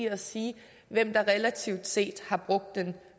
at sige hvem der relativt set har brugt den